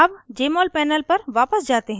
अब jmol panel पर वापस जाते हैं